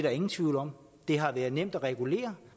er ingen tvivl om at det har været nemt at regulere